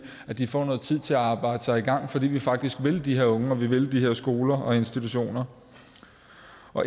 at de får noget tid til at arbejde sig i gang fordi vi faktisk vil de her unge og vil de her skoler og institutioner